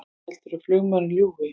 Heldurðu að flugmaðurinn ljúgi!